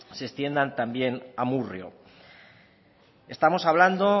se extiendan también a amurrio estamos hablando